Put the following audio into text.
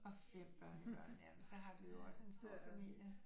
Og 5 børnebørn jamen så har du jo også en stor familie